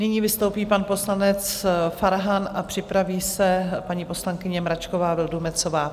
Nyní vystoupí pan poslanec Farhan a připraví se paní poslankyně Mračková Vildumetzová.